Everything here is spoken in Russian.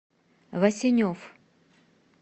васенев